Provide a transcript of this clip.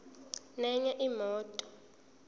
nenye imoto